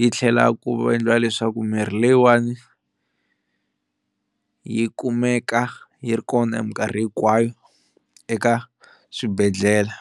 yi tlhela ku endliwa leswaku mirhi leyiwani yi kumeka yi ri kona hi minkarhi hinkwayo eka swibedhlele.